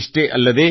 ಇಷ್ಟೇ ಅಲ್ಲದೇ